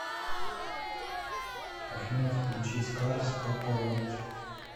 афина включи скарс папа роуч